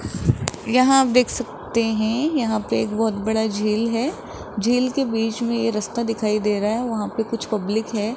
यहां आप देख सकते हैं यहां पे एक बहोत बड़ा झील है झील के बीच में ये रास्ता दिखाई दे रहा है वहां पे कुछ पब्लिक है।